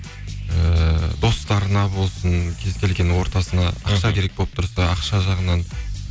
ііі достарына болсын кез келген ортасына ақша керек болып тұрса ақша жағынан